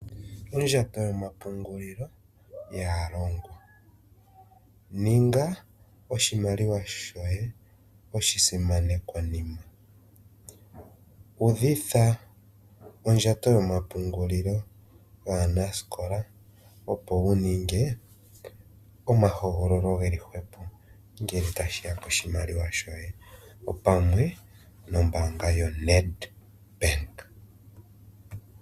Ondjato yomapungulilo yaalongwa. Ninga oshimaliwa shoye oshisimanekwanima, udhitha ondjato yomapungulilo yaanasikola opo wu ninge omahogololo geli hwepo ngele tashi ya koshimaliwa shoye opamwe nombaanga yoNEDBANK.